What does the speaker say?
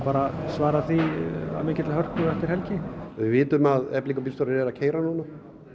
svara svara því að mikilli hörku eftir helgi við vitum að eflingarbíljstórar eru að keyra núna